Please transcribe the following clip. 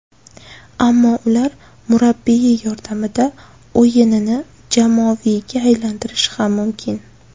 Ammo ular murabbiyi yordamida o‘yinini jamoaviyga aylantirishi ham mumkin.